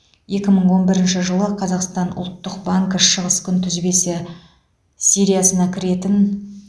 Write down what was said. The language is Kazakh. екі мың он бірінші жылы қазақстан ұлттық банкі шығыс күнтізбесі сериясына кіретін